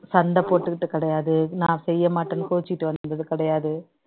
சண்டை போட்டுக்கிட்டு கிடையாது நான் செய்ய மாட்டேன்னு கோவிச்சுட்டு வந்தது கிடையாது